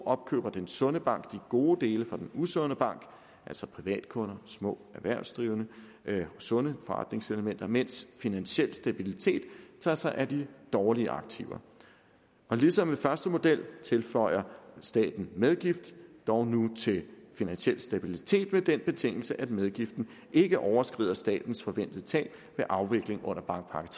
opkøber den sunde bank de gode dele fra den usunde bank altså privatkunder små erhvervsdrivende sunde forretningselementer mens finansiel stabilitet tager sig af de dårlige aktiver ligesom ved den første model tilføjer staten medgift dog nu til finansiel stabilitet med den betingelse at medgiften ikke overskrider statens forventede tab ved afvikling under bankpakke